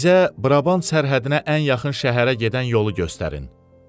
Bizə Brabant sərhədinə ən yaxın şəhərə gedən yolu göstərin.